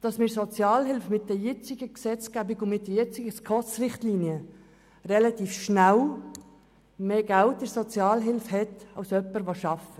Es ist nämlich so, dass man aufgrund der jetzigen Gesetzgebung und den jetzigen SKOS-Richtlinien mit Sozialhilfe relativ schnell mehr Geld hat als jemand, der arbeitet.